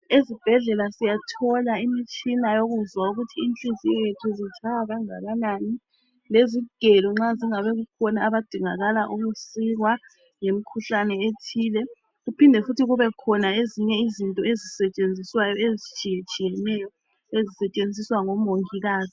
Ezibhedlela siyathola imitshina yokuzwa ukuthi inhliziyo yethu zitshaya kangakanani lezigelo nxa kungabe kukhona abadingakala ukusikwa ngemkhuhlane ethile kuphinde futhi kube khona ezinye izinto ezisetshenziswayo ezitshiyetshiyeneyo sezisetshenziswa ngomongikazi.